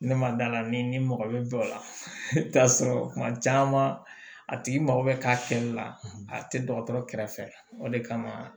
Ne ma d'a la ni mɔgɔ bɛ dɔw la i bɛ taa sɔrɔ kuma caman a tigi mago bɛ k'a kɛli la a tɛ dɔgɔtɔrɔ kɛrɛfɛ o de kama